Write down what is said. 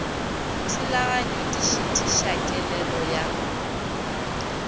thulaganyo di šitiša kelelo ya